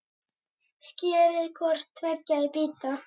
Skerið hvort tveggja í bita.